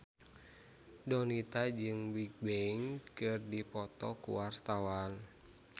Donita jeung Bigbang keur dipoto ku wartawan